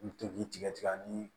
I bi to k'i tigɛ tigɛ ani